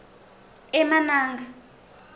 emananga